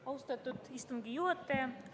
Austatud istungi juhataja!